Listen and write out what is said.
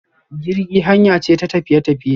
Jirgi hanya ce ta tafiye tafiye.